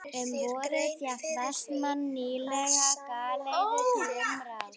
Um vorið fékk Vestmann nýlega galeiðu til umráða.